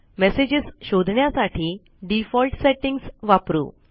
messages शोधण्यासाठी default settings वापरू